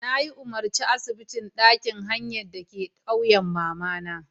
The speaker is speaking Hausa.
Nayi umarci asibitin ɗakin hayan dake ƙauyan mamata.